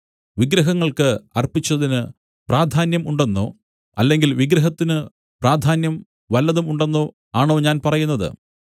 വിഗ്രഹങ്ങൾക്ക് അർപ്പിച്ചതിന് പ്രാധാന്യം ഉണ്ടെന്നോ അല്ലെങ്കിൽ വിഗ്രഹത്തിന് പ്രാധാന്യം വല്ലതും ഉണ്ടെന്നോ ആണോ ഞാൻ പറയുന്നത്